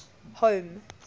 home